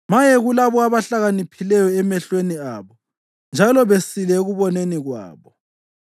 Maye kulabo abahlakaniphileyo emehlweni abo njalo besile ekuboneni kwabo.